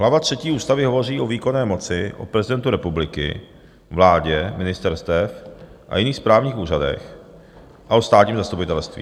Hlava třetí ústavy hovoří o výkonné moci, o prezidentu republiky, vládě, ministerstvech a jiných správních úřadech a o státním zastupitelství.